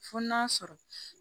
Fo n'a sɔrɔ